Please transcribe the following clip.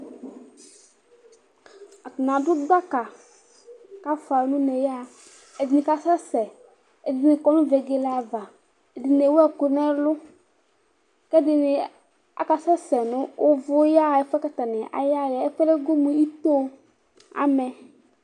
Atanɩ adʋ gbaka kafua n'une yaɣa Ɛdɩnɩ kasɛsɛ, ɛdɩnɩ kɔ nʋ vegele ava, ɛdɩnɩ ewu ɛkʋ n'ɛlʋ, k'ɛdɩnɩ akasɛsɛ nʋ ʋvʋ yaɣa ɛfʋɛ bua k'stanɩ ayaɣa yɛ Ɛfʋɛ go mʋ otoo amɛ